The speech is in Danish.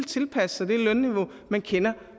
tilpasse sig det lønniveau man kender